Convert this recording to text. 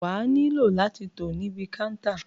Wà nílò láti tò níbi kántà.